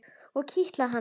Og kitla hana.